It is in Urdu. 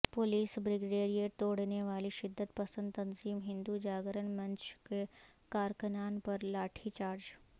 پولیس بریگیڈ توڑنے والی شدت پسند تنظیم ہندو جاگرن منچ کے کارکنان پر لاٹھی چارج